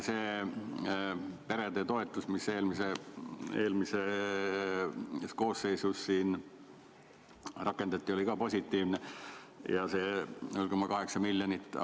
See perede toetus, mis eelmises koosseisus rakendati, oli positiivne, ja see 0,8 miljonit.